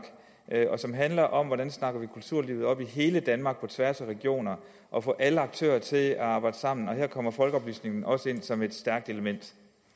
og som handler om hvordan vi snakker kulturlivet op i hele danmark på tværs af regionerne og får alle aktører til at arbejde sammen her kommer folkeoplysningen også ind som et stærkt element